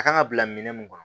A kan ka bila minɛn mun kɔnɔ